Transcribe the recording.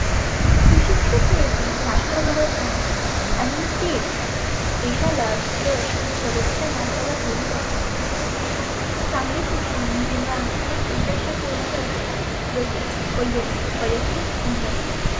सुशिक्षीत नेते राष्ट्र घडवतात. आणि तेच देशाला यश आणि प्रगतीच्या मार्गावर घेऊन जातात. चांगले शिक्षण जिवनात आनेक उद्देश पुर्ण करते. जसे वयत वयक्तीक उन्नती.